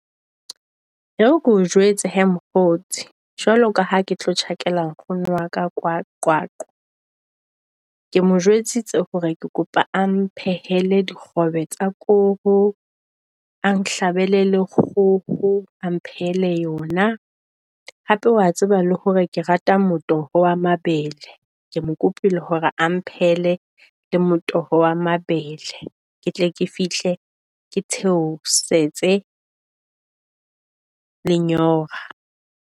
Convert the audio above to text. E re keo jwetse hee mokgotsi jwalo ka ha ke tlo tjhakela nkgono wa ka kwa Qwaqwa. Ke mo jwetsitse hore ke kopa o mphehele dikgobe tsa koro a nhlabele le kgoho. A nphehele yona hape wa tseba le hore ke rata motoho wa mabele, ke mo kopile hore a mphehele le motoho wa mabele. Ke tle ke fihle ke theosetse lenyora.